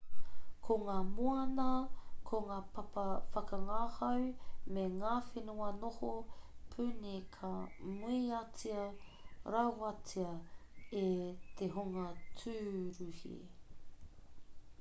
ko ngā moana ko ngā papa whakangahau me ngā whenua noho puni ka muiatia rawatia e te hunga tūruhi